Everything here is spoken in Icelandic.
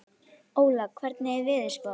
Óla, hvernig er veðurspáin?